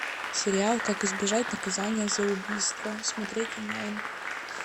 сериал как избежать наказания за убийство смотреть онлайн